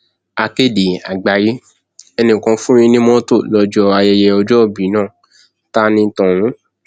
akéde àgbáyé ẹnìkan fún yín ní mọtò lọjọ ayẹyẹ ọjọòbí náà ta ní tọhún